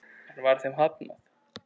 Enn var þeim hafnað.